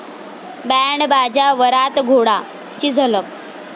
band बाजा वरात घोडा...'ची झलक